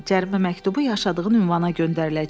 Cərimə məktubu yaşadığın ünvana göndəriləcək.